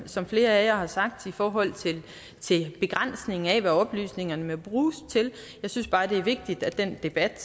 som flere af jer har sagt i forhold til begrænsning af hvad oplysningerne må bruges til jeg synes bare det er vigtigt at den debat